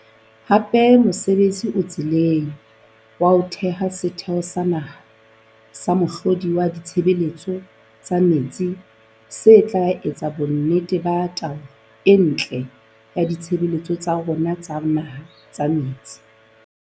Hape mosebtsi o tseleng wa ho theha Setheho sa Naha sa Mohlodi wa Ditshebeletso tsa Metsi se tla etsa bonnete ba taolo e ntle ya ditshebeletso tsa rona tsa naha tsa metsi.